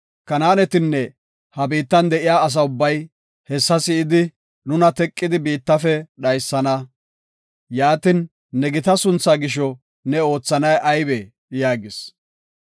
Kanaanetinne ha biittan de7iya asa ubbay, hessa si7idi, nuna teqidi, biittafe dhaysana. Yaatin, ne gita sunthaa gisho ne oothanay aybee?” yaagis.